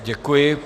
Děkuji.